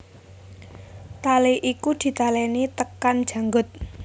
Tali iku ditaleni tekan janggut